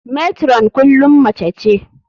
Matron kullum mace ce.